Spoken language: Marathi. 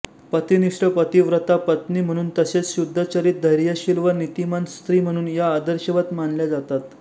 पतिनिष्ठ पतिव्रता पत्नी म्हणून तसेच शुद्धचरित धैर्यशील व नीतिमान स्त्री म्हणून या आदर्शवत मानल्या जातात